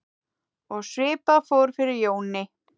Og svipað fór fyrir Jóni.